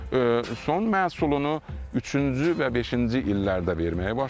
Son məhsulunu üçüncü və beşinci illərdə verməyə başlayır.